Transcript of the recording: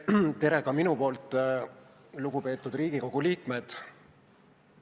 Tere, lugupeetud Riigikogu liikmed!